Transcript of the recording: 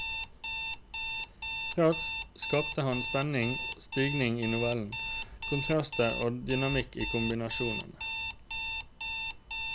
Raskt skaper han spenning og stigning i novellen, kontraster og dynamikk i kombinasjonene.